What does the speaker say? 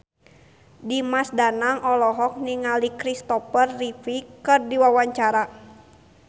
Dimas Danang olohok ningali Kristopher Reeve keur diwawancara